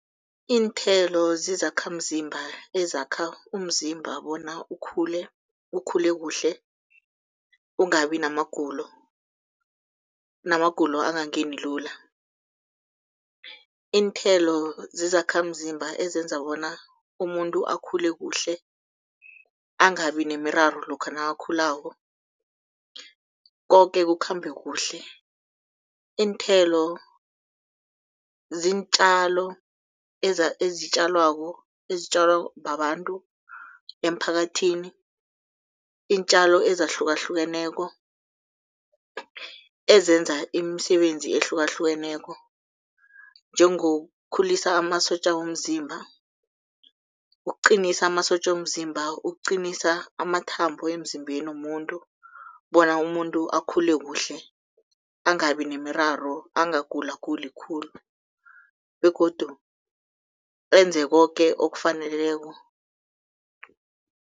Iinthelo zizakhamzimba ezakha umzimba bona ukhule, ukhule kuhle, ungabi namagulo, namagulo angangeni lula. Iinthelo zizakhamzimba ezenza bona umuntu akhule kuhle angabi nemiraro lokha nakakhulako, koke kukhambe kuhle. Iinthelo ziintjalo ezitjalwako, ezitjalwa babantu emphakathini, iintjalo ezahlukahlukeneko ezenza imisebenzi ehlukahlukeneko, njengokukhulisa amasotja womzimba, ukuqinisa amasotja womzimba, ukuqinisa amathambo emzimbeni womuntu bona umuntu akhule kuhle, angabi nemiraro angagulaguli khulu begodu enze koke okufaneleko.